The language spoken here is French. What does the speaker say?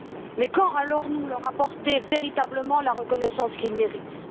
Mais quand allons nous leur apporter véritablement la reconnaissance qu'ils méritent?